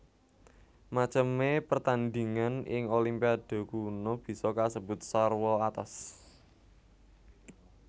Macemé pertandhingan ing Olimpiade kuno bisa kasebut sarwa atos